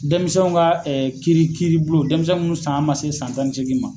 Denmisɛnw ka kiiri kiiribulon denmisɛn mun san man se san tan ni seegin ma.